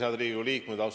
Head Riigikogu liikmed!